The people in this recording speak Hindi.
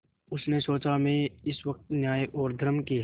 उसने सोचा मैं इस वक्त न्याय और धर्म के